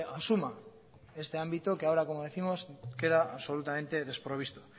asuma este ámbito que ahora como décimos queda absolutamente desprovisto